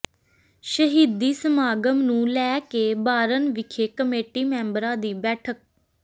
ਸ਼ਹੀਦੀ ਸਮਾਗਮ ਨੂੰ ਲੈ ਕੇ ਬਾਰਨ ਵਿਖੇ ਕਮੇਟੀ ਮੈਂਬਰਾਂ ਦੀ ਬੈਠਕ